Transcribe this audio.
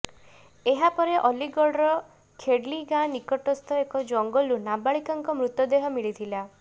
ଏହାପରେ ଅଲିଗଡ଼ର ଖେଡଲୀ ଗାଁ ନିକଟସ୍ଥ ଏକ ଜଙ୍ଗଲରୁ ନାବାଳିକାଙ୍କ ମୃତଦେହ ମିଳିଥିଲା